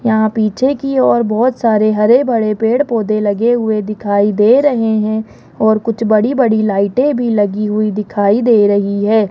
यहां पीछे की ओर बहोत सारे हर भड़े पेड़ पौधे लगे हुए दिखाई दे रहे हैं और कुछ बड़ी बड़ी लाइटें भी लगी हुई दिखाई दे रही है।